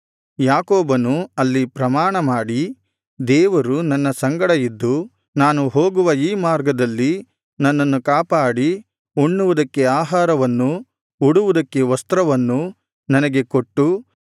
ಯಾಕೋಬನು ಅಲ್ಲಿ ಪ್ರಮಾಣ ಮಾಡಿ ದೇವರು ನನ್ನ ಸಂಗಡ ಇದ್ದು ನಾನು ಹೋಗುವ ಈ ಮಾರ್ಗದಲ್ಲಿ ನನ್ನನ್ನು ಕಾಪಾಡಿ ಉಣ್ಣುವುದಕ್ಕೆ ಆಹಾರವನ್ನೂ ಉಡುವುದಕ್ಕೆ ವಸ್ತ್ರವನ್ನೂ ನನಗೆ ಕೊಟ್ಟು